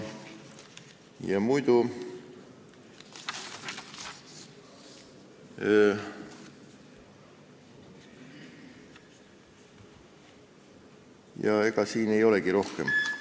Ja ega siin ei olegi rohkem midagi.